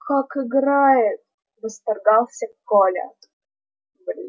как играет восторгался коля